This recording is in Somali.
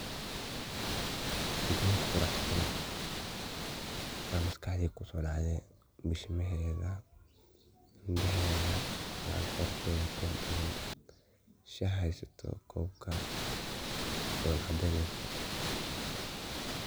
Geber quraxsan aya maskaxdeyda kusodacde bishimaheda, indaheda, macal qorteda quraxbadhan shah haysato kobka dola cadeyneyso.